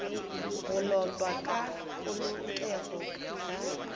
go lotwa ka polokego ga